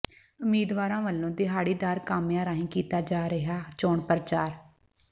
ਉਮੀਦਵਾਰਾਂ ਵੱਲੋਂ ਦਿਹਾੜੀਦਾਰ ਕਾਮਿਆਂ ਰਾਹੀਂ ਕੀਤਾ ਜਾ ਰਿਹਾ ਚੋਣ ਪ੍ਰਚਾਰ